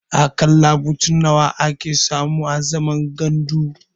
A ƙalla mutum nawa ake samu a zaman gandu?